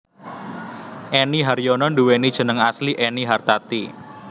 Enny Haryono nduwéni jeneng asli Ennie Hartati